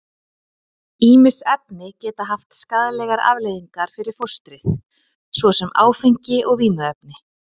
Ýmis efni geta haft skaðlegar afleiðingar fyrir fóstrið, svo sem áfengi og vímuefni.